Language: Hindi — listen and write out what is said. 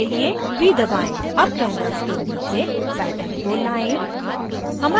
अब canvas के नीचे pattern को लाएं